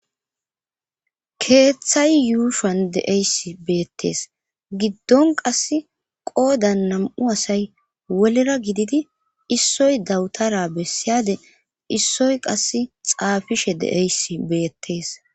Keeththay yuushian deeyssi beettees giddon qas qoodan nam7u asay wolera gididi issoy dawutara bessiyade issoy qas xaafishe de7eys beettees